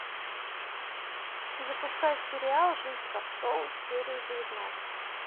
запускай сериал жизнь как шоу серия девятнадцать